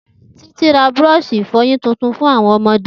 Titi ra búrọ̀ọ̀ṣì ìfọyín titun fun awọn ọmọde.